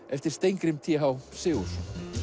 eftir Steingrím t h Sigurðsson